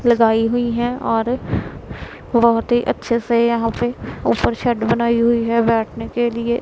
लगाई हुई है और बहोत ही अच्छे से यहां पर ऊपर शेड बनाई हुई है बैठने के लिए--